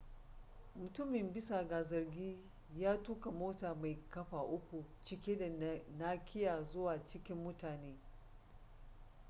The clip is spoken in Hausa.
mutumin bisa ga zargi ya tuka mota mai kafa uku cike da nakiya zuwa cikin mutane